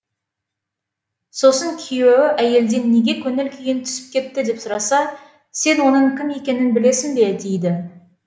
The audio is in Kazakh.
сосын күйеуі әйелден неге көңіл күйің түсіп кетті деп сұраса сен оның кім екенін білесің бе дейді